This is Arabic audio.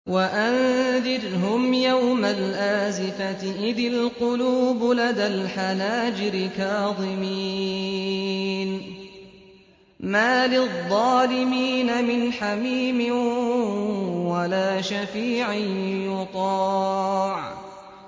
وَأَنذِرْهُمْ يَوْمَ الْآزِفَةِ إِذِ الْقُلُوبُ لَدَى الْحَنَاجِرِ كَاظِمِينَ ۚ مَا لِلظَّالِمِينَ مِنْ حَمِيمٍ وَلَا شَفِيعٍ يُطَاعُ